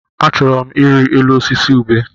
Achọrọ m ịrị elu osisi ubé.